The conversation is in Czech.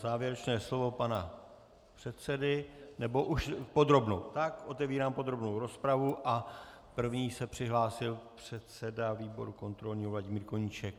Závěrečné slovo pana předsedy - nebo už... podrobnou, tak otevírám podrobnou rozpravu a první se přihlásil předseda výboru kontrolního Vladimír Koníček.